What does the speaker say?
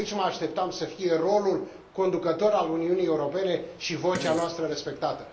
Aici mă așteptam să fie rolul conducător al Uniunii Europene și vocea noastră respectată.